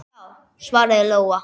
Já, svaraði Lóa.